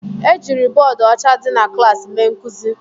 Ejiri bọọdụ ọcha dị na klaasị mee nkuzi